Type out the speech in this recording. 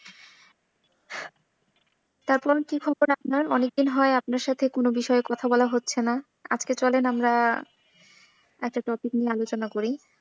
তারপর কি খবর আপনার অনেকদিন হয় আপনার সাথে কোনো বিষয়ে কোনো কথা বলা হচ্ছে না। আজকে চলেন আমরা একটা topic নিয়ে আলোচনা করি।